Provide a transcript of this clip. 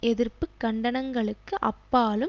எதிர்ப்பு கண்டனங்களுக்கு அப்பாலும்